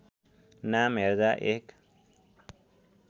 नाम हेर्दा एक